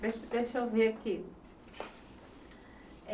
Deixa deixa eu ver aqui.